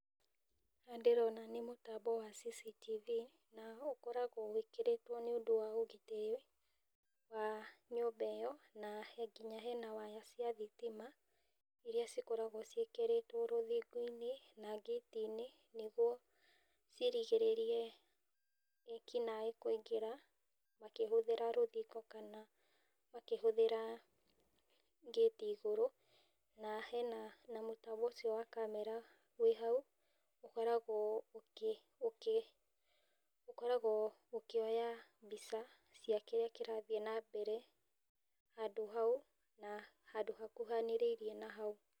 Ũrĩa ndĩrona nĩ mũtambo wa CCTV, na ũkoragwo wĩkĩrĩtwo nĩũndũ wa ũgitĩri wa nyũmba ĩyo. Nginya hena waya cia thitima iria cikoragwo ciĩkĩrĩtwo rũthingoinĩ na ngĩtinĩ, nĩguo cirigĩrĩrie ekinaĩ kũingĩra, makĩhũthĩra rũthingo kana makĩhũthĩra ngĩti igũrũ. Na hena mũtambo ũcio wa namera wĩ hau ũkoragwo ũkĩoya mbica cia kĩrĩa kĩrathi na mbere, handũ hau, na handũ hakuhanĩrĩirie na hau.